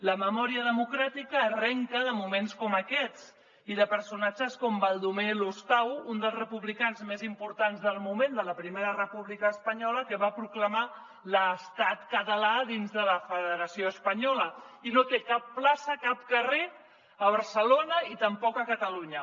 la memòria democràtica arrenca de moments com aquests i de personatges com baldomer lostau un dels republicans més importants del moment de la primera república espanyola que va proclamar l’estat català dins de la federació espanyola i no té cap plaça cap carrer a barcelona i tampoc a catalunya